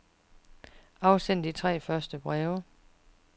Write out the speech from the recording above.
Afsend de tre første breve.